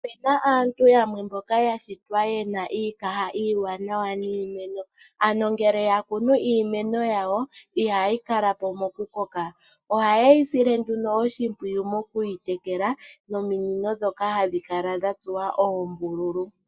Opu na aantu yamwe mboka ya shitwa ye na iikaha iiwanawa niimeno, ano ngele ya kunu iimeno yawo, ihayi kala po mokukoka. Ohaye yi sile nduno oshimpwiyu moku yi tekela nominino ndhoka hadhi kala dha tsuwa oombululu.